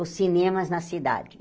Os cinemas na cidade.